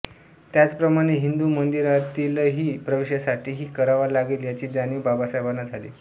त्याचप्रमाणे हिंदू मंदिरांतीलही प्रवेशासाठीही करावा लागेल याची जाणीव बाबासाहेबांना झाली